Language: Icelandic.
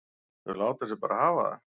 Þau láta sig bara hafa það.